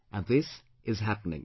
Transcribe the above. And this is happening